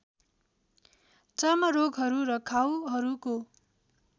चर्म रोगहरू र घाउहरूको